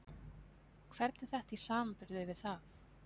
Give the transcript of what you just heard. Hvernig er þetta í samanburði við það?